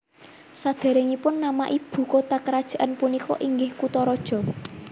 Sadéréngipun nama ibu kota kerajaan punika inggih Kutaraja